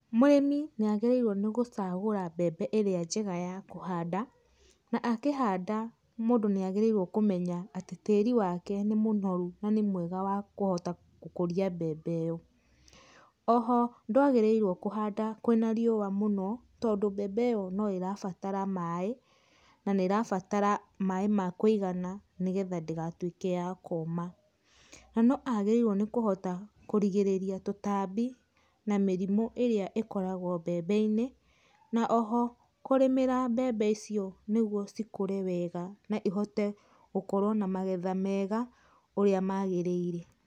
Mũrĩmi nĩ agĩrĩirwo nĩ gũcagũra mbembe ĩrĩa njega ya kũhanda, na akĩhanda mũndũ nĩ agĩrĩirwo kũmenya atĩ tĩri wake nĩ mũnoru na nĩ mwega wa kũhota gũkũria mbembe ĩyo. Oho ndwagĩrĩirwo kũhanda kwĩna riũa mũno, tondũ mbembe ĩyo no ĩrabatara maĩ, na nĩ ĩrabatara maĩ ma kũigana nĩ getha ndĩgatuĩke ya kũma. Na no agĩrĩirwo nĩ kũhota kũrigĩrĩria tũtambi na mĩrimũ ĩrĩa ĩkoragwo mbembe-inĩ, na oho kũrĩmĩra mbembe icio nĩgwo cikũre wega na ihote gũkorwo na magetha mega ũrĩa magĩrĩire.